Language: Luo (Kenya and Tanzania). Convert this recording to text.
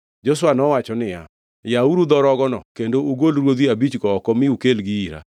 Joshua nowacho niya, “Yawuru dho rogono kendo ugol ruodhi abichgo oko mi ukelgi ira.”